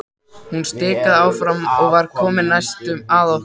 Hún stikaði áfram og var nú komin næstum að okkur.